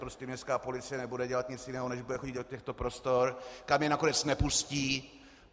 Prostě městská policie nebude dělat nic jiného, než bude chodit do těchto prostor, kam je nakonec nepustí.